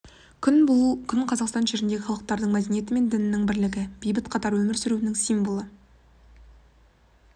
күн бұл күн қазақстан жеріндегі халықтардың мәдениеті мен дінінің бірлігі бейбіт қатар өмір сүруінің символы